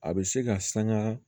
A bɛ se ka sanga